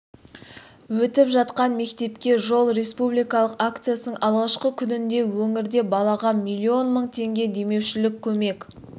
өтіп жатқан мектепке жол республикалық акциясының алғашқы күнінде өңірде балаға миллион мың теңге демеушілік көмек